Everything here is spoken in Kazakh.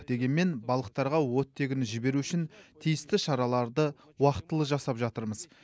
дегенмен балықтарға оттегіні жіберу үшін тиісті шараларды уақытылы жасап жатырмыз